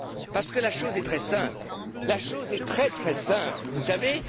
Parce que la chose est très simple, la chose est très très simple, vous savez.